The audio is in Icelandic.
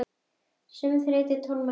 Sömu þreyttu og tómlátu konuna?